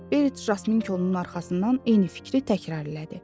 Berit Jasminkonun arxasından eyni fikri təkrarladı.